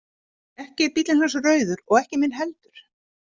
Ekki er bíllinn hans rauður og ekki minn heldur.